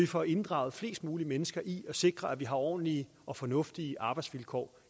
får inddraget flest mulige mennesker i at sikre at vi har ordentlige og fornuftige arbejdsvilkår